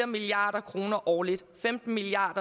milliard kroner årligt femten milliard